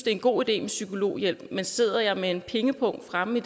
er en god idé med psykologhjælp men står jeg med en pengepung fremme i